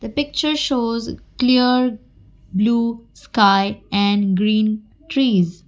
picture shows clear blue sky and green trees.